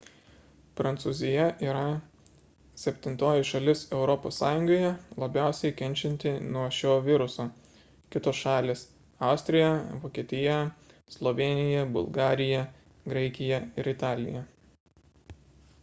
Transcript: prancūzija yra septintoji šalis europos sąjungoje labiausiai kenčianti nuo šio viruso kitos šalys – austrija vokietija slovėnija bulgarija graikija ir italija